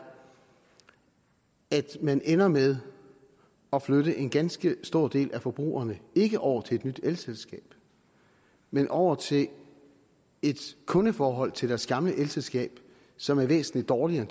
at man ender med at flytte en ganske stor del af forbrugerne ikke over til et nyt elselskab men over til et kundeforhold til deres gamle elselskab som er væsentlig dårligere